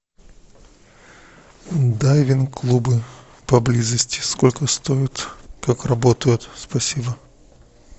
дайвинг клубы поблизости сколько стоит как работают спасибо